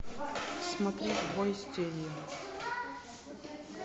смотреть бой с тенью